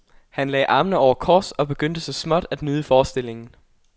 Han lagde armene over kors og begyndte så småt at nyde forestillingen.